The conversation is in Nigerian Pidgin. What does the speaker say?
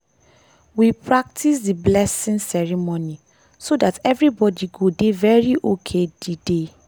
we practices dey blessing ceremony so that everybody go dey very ok dey day.